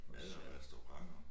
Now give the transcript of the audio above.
Mad og restaurenter